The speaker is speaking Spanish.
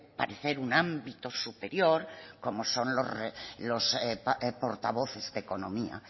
parecer un ámbito superior como son los portavoces de economía